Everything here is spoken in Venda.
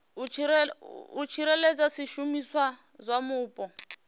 u tsireledza zwishumiswa zwa mupo